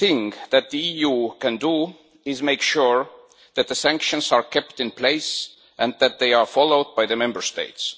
What that the EU can do is make sure that the sanctions are kept in place and that they are followed by the Member States.